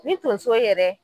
Ni tonso yɛrɛ